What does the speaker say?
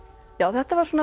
þetta var